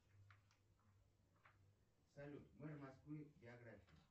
салют мэр москвы биография